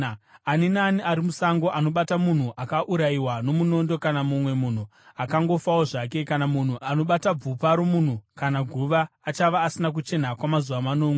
“Ani naani ari musango anobata munhu akaurayiwa nomunondo kana mumwe munhu akangofawo zvake, kana munhu anobata bvupa romunhu kana guva, achava asina kuchena kwamazuva manomwe.